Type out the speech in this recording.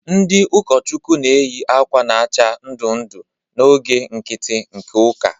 Ndị ụkọchukwu na-eyi akwa na-acha ndụ ndụ n'oge nkiti nke ụka.